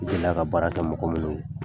U delila ka baara kɛ mɔgɔ minnu ye